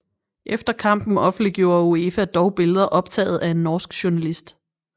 Efter kampen offentliggjorde UEFA dog billeder optaget af en norsk journalist